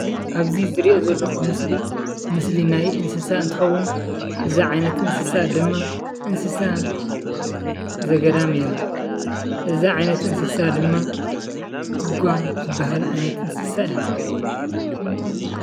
ኣብዚ ዝሪኦ ዘለኹ ምስሊ ምስሊ ናይ እንስሳ እንትኸውን እዛ ዓይነት እንስሳ ድማ እንስሳ ዘገዳም እያ፡፡ እዛ ዓይነት እንስሳ ድማ ጒጓ ትበሃል ዓይነት እንስሳ እያ፡፡